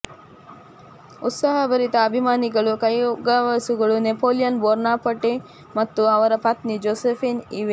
ಉತ್ಸಾಹಭರಿತ ಅಭಿಮಾನಿಗಳು ಕೈಗವಸುಗಳು Napoleon Bonaparte ಮತ್ತು ಅವರ ಪತ್ನಿ ಜೋಸೆಫೀನ್ ಇವೆ